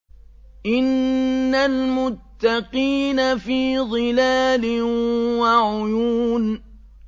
إِنَّ الْمُتَّقِينَ فِي ظِلَالٍ وَعُيُونٍ